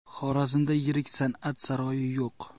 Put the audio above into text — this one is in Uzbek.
Xorazmda yirik san’at saroyi yo‘q.